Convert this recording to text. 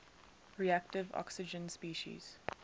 reactive oxygen species